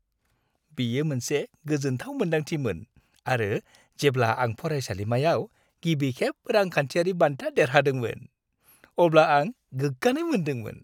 बियो मोनसे गोजोन्थाव मोन्दांथिमोन आरो जेब्ला आं फरायसालिमायाव गिबिखेब रांखान्थियारि बान्था देरहादोंमोन, अब्ला आं गोग्गानाय मोन्दोंमोन।